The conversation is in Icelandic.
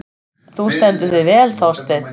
Þú stendur þig vel, Þorsteinn!